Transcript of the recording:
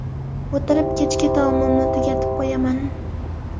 O‘tirib, kechki taomimni tugatib qo‘yaman.